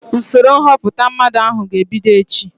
Usoro nhọpụta mmadụ ahụ ga-ebido echi